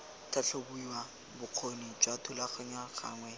tlhatlhobiwa bokgoni jwa thulaganyo gangwe